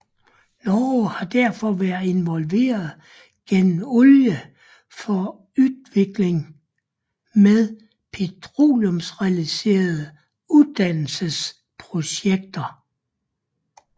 Norge har derfor været involveret gennem Olje for utvikling med petroleumsrelaterede uddannelsesprojekter